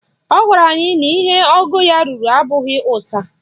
Ọ gwara anyị na ihe ogo ya ruru abụghị ụsa